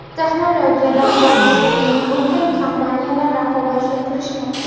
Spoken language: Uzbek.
Texnologiyalar borasida eng ulkan kompaniyalar raqobatga kirishmoqda.